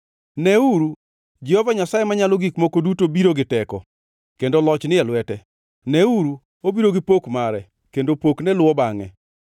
Neuru, Jehova Nyasaye Manyalo Gik Moko Duto biro gi teko, kendo loch ni e lwete. Neuru, obiro gi pok mare, kendo pokne luwo bangʼe.